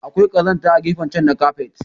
Akwai kazamta a gefen chan na kafet.